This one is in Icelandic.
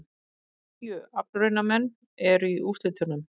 Tíu aflraunamenn eru í úrslitunum